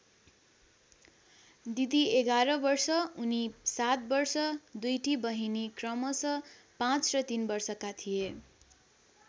दिदी ११ वर्ष उनी ७ वर्ष दुईटी बहिनी क्रमशः ५ र ३ वर्षका थिए।